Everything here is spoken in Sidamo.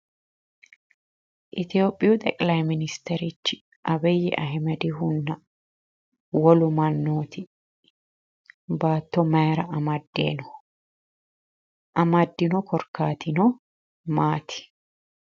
Itiyopiyu xeqilayi ministwrichi abiyi ahimedihunna wolu mannooti baatto mayira amadde no? anaddino korkaatino Maati?